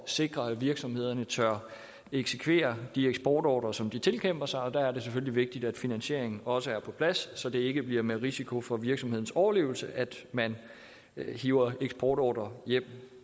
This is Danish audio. sikre at virksomhederne tør eksekvere de eksportordrer som de tilkæmper sig og der er det selvfølgelig vigtigt at finansieringen også er på plads så det ikke bliver med risiko for virksomhedens overlevelse at man hiver eksportordrer hjem